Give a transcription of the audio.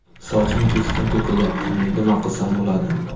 Sochim keskin to‘kilyapti, nima qilsam bo‘ladi?